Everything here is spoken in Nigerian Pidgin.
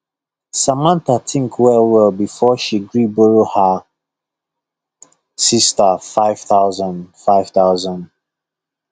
samantha think well well before she gree borrow her sister five thousand five thousand